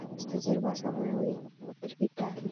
ከበስተጀርባ ሰማያዊ ግድግዳ አለ።